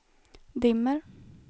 dimmer